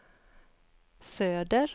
söder